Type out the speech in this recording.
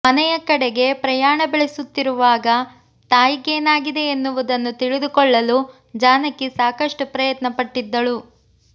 ಮನೆಯ ಕಡೆಗೆ ಪ್ರಯಾಣ ಬೆಳೆಸುತ್ತಿರುವಾಗ ತಾಯಿಗೇನಾಗಿದೆ ಎನ್ನುವುದನ್ನು ತಿಳಿದುಕೊಳ್ಳಲು ಜಾನಕಿ ಸಾಕಷ್ಟು ಪ್ರಯತ್ನ ಪಟ್ಟಿದ್ದಳು